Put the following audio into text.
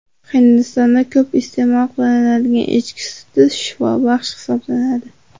Hindistonda ko‘p iste’mol qilinadigan echki suti shifobaxsh hisoblanadi.